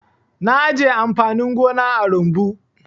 Na ajiye amfanin gona a rumbu.